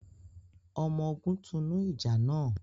ọmọ ògún tunu ìjà nà